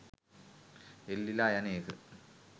එල්ලිලා යන එක